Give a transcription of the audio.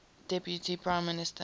deputy prime minister